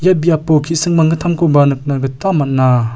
biapo ki·sing manggittamkoba nikna gita man·a.